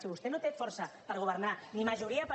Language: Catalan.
si vostè no té força per governar ni majoria per